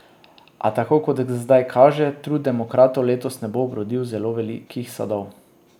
A tako kot zdaj kaže, trud demokratov letos ne bo obrodil zelo velikih sadov.